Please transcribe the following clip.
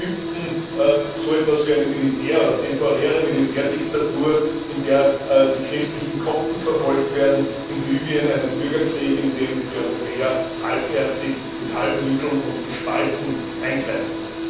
in Ägypten so etwas wie eine Militär oder temporäre Militärdiktatur, in der die christlichen Kopten verfolgt werden in Libyen einen Bürgerkrieg, in dem die Europäer halbherzig mit halben Mitteln und gespalten eingreifen.